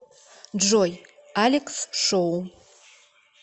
джой алекс шоу